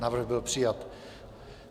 Návrh byl přijat.